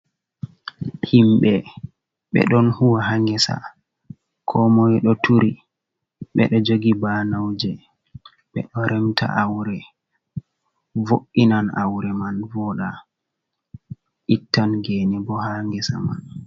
Himɓe ɓedo huwa ha gesa komoi do turi bedo jogi banauje ,be do remta aure vo’’inan aure man voda ittan gene bo ha gesa man.